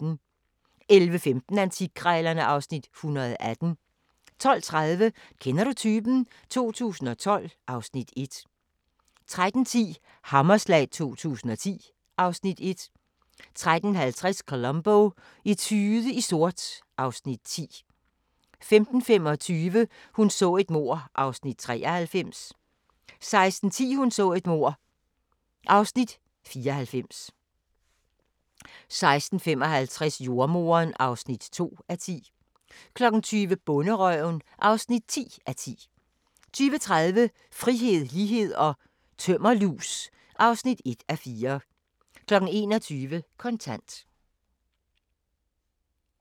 11:15: Antikkrejlerne (Afs. 118) 12:30: Kender du typen? 2012 (Afs. 1) 13:10: Hammerslag 2010 (Afs. 1) 13:50: Columbo: Etude i sort (Afs. 10) 15:25: Hun så et mord (93:268) 16:10: Hun så et mord (94:268) 16:55: Jordemoderen (2:10) 20:00: Bonderøven (10:10) 20:30: Frihed, lighed & tømmerlus (1:4) 21:00: Kontant